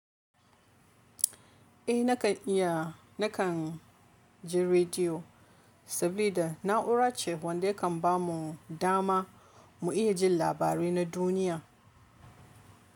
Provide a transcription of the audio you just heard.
Eh nakan iya, nakan ji rediyo saboda na'ura ce wanda yakan bamu dama mu iya jin labarai na duniya.